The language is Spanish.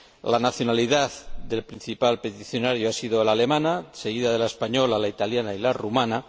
La nacionalidad del principal peticionario ha sido la alemana, seguida de la española, la italiana y la rumana.